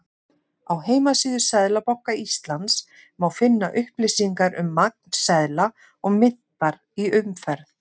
Á heimasíðu Seðlabanka Íslands má finna upplýsingar um magn seðla og myntar í umferð.